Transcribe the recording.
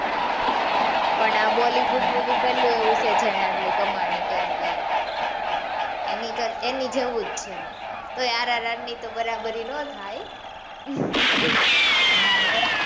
પણ આ bollywood, movie પહેલું એવું છે જેણે આટલી કમાંણી કરી એમ એની જેવો જ છે તો એ rrr ની તો બરાબરી ના થાય